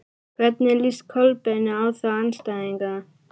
Hvernig líst Kolbeini á þá andstæðinga?